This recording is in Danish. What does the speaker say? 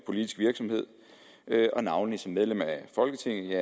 politisk virksomhed navnlig som medlem af folketinget